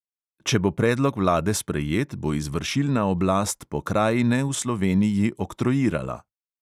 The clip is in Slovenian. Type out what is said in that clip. "Če bo predlog vlade sprejet, bo izvršilna oblast pokrajine v sloveniji oktroirala."